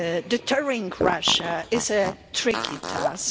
Deterring Russia is a tricky task.